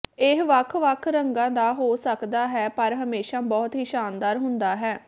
ਇਹ ਵੱਖ ਵੱਖ ਰੰਗਾਂ ਦਾ ਹੋ ਸਕਦਾ ਹੈ ਪਰ ਹਮੇਸ਼ਾ ਬਹੁਤ ਹੀ ਸ਼ਾਨਦਾਰ ਹੁੰਦਾ ਹੈ